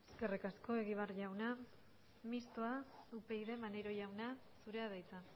eskerrik asko egibar jauna mistoa upyd maneiro jauna zurea da hitza